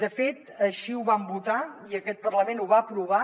de fet així ho vam votar i aquest parlament ho va aprovar